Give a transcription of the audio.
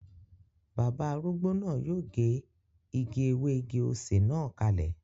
Bàbá arúgbó náà yóò gé igi ewé igi-osè na kalẹ